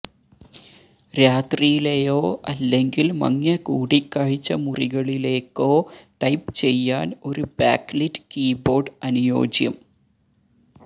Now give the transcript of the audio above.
രാത്രിയിലെയോ അല്ലെങ്കിൽ മങ്ങിയ കൂടിക്കാഴ്ച മുറികളിലേക്കോ ടൈപ്പ് ചെയ്യാൻ ഒരു ബാക്ക്ലിറ്റ് കീബോർഡ് അനുയോജ്യം